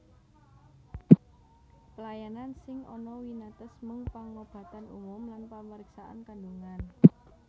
Pelayanan sing ana winates mung pangobatan umum lan pamriksaan kandhungan